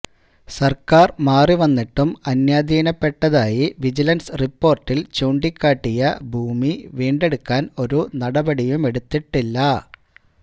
സര്ക്കാര് മാറിവന്നിട്ടും അന്യാധീനപ്പെട്ടതായി വിജിലന്സ് റിപ്പോര്ട്ടില് ചൂണ്ടിക്കാട്ടിയ ഭൂമി വീണ്ടെടുക്കാന് ഒരു നടപടിയുമെടുത്തിട്ടില്ല